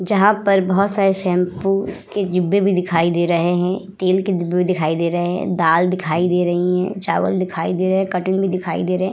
जहाँ पर बहुत सारे शैम्पू के डिब्बे भी दिखाई दे रहे है तेल के डिब्बे भी दिखाई दे रहे है दाल दिखाई दे रही है चावल दिखाई दे रहे है कटिंग भी दिखाई दे रहे है ।